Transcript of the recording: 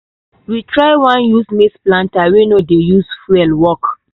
we try one new maize planter wey no dey use fuel work.